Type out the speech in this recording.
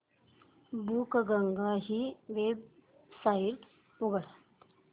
बुकगंगा ही वेबसाइट उघड